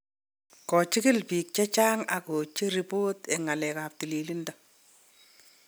kochikil biik chechang ak kocher ripot en ngalalet ab tililindo